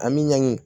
An bɛ ɲangi